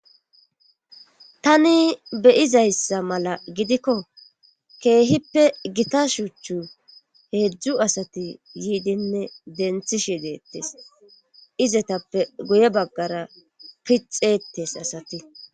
tani beyizayssa mala gidikko keehippe gita shuuchchu heedzdzu asati yiidinne denthishe deettes izetappe guye baggara pixeetes asati